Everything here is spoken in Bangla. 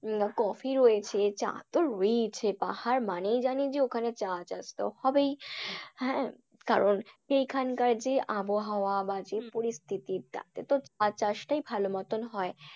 উম কফি রয়েছে চা তো রয়েছেই পাহাড় মানেই যে জানি যে ওখানে চা চাষ তো হবেই। হ্যাঁ কারণ এখানকার যে আবহাওয়া বা যে পরিস্থিতি তাতে তো চা চাষটাই ভালো মতন হয়।